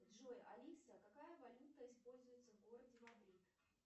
джой алиса какая валюта используется в городе мадрид